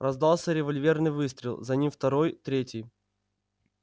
раздался револьверный выстрел за ним второй третий